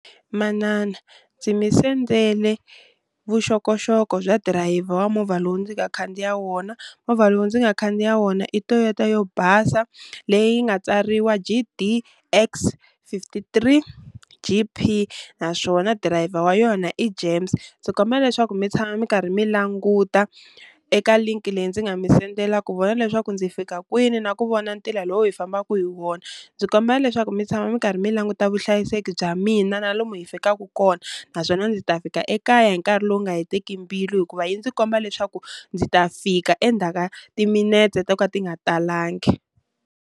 Manana ndzi mi sendele vuxokoxoko bya dirayiva wa movha lowu ndzi nga khandziya wona. Movha lowu ndzi nga khandziya wona i Toyota yo basa leyi nga tsariwa G_D_X fifty three G_P naswona driver wa yona i James. Ndzi kombela leswaku mi tshama mi karhi mi languta eka linki leyi ndzi nga mi sendela ku vona leswaku ndzi fika kwini na ku vona ntila lowu hi fambaku hi wona, ndzi kombela leswaku mi tshama mi karhi mi languta vuhlayiseki bya mina na lomu hi fikaku kona, naswona ndzi ta fika ekaya hi nkarhi lowu nga heteki mbilu hikuva yi ndzi komba leswaku ndzi ta fika endzhaka timinetse to ka ti nga talangi.